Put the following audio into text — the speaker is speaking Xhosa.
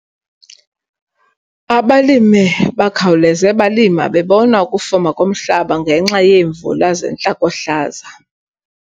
Abalime bakhawuleze balima bebona ukufuma komhlaba ngenxa yeemvula zentlakohlaza.